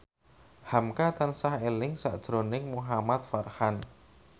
hamka tansah eling sakjroning Muhamad Farhan